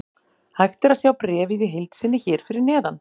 Hægt er að sjá bréfið í heild sinni hér fyrir neðan.